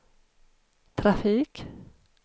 trafik